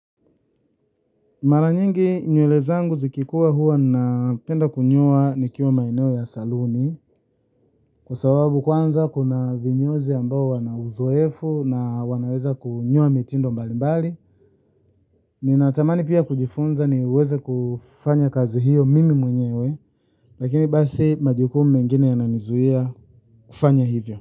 Mara nyingi nywele zangu zikikua hua napenda kunyoa nikiwa maeneo ya saluni kwa sababu kwanza kuna vinyozi ambao wana uzoefu na wanaweza kunyoa mitindo mbalimbali. Ninatamani pia kujifunza niweze kufanya kazi hiyo mimi mwenyewe lakini basi majukumu mengine yananizuia kufanya hivyo.